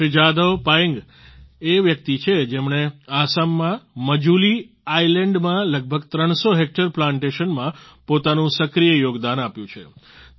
શ્રી જાદવ પાયેન્ગ એ વ્યક્તિ છે જેમણે આસામમાં મજૂલી આયલેન્ડમાં લગભગ 300 હેક્ટર પ્લાન્ટેશનમાં પોતાનું સક્રિય યોગદાન આપ્યું છે